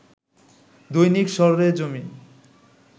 দৈনিক সরেজমিন